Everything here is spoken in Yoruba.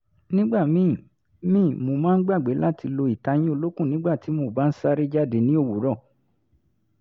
nígbà míì míì mo máa ń gbàgbé láti lo ìtayín olókùn nígbà tí mo bá ń sáré jáde ní òwúrọ̀